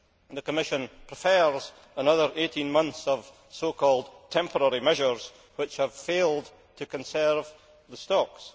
The Commission prefers another 18 months of so called temporary measures, which have failed to conserve the stocks.